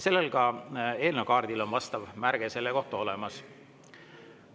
Ka eelnõu kaardil on vastav märge selle kohta olemas.